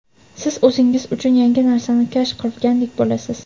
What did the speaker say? siz o‘zingiz uchun yangi narsani kashf qilgandek bo‘lasiz.